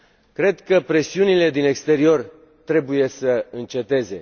Cred că presiunile din exterior trebuie să înceteze.